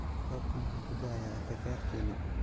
Roobka muxuu kuda'aya akakarkeena.